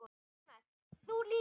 Jónas: Þú líka?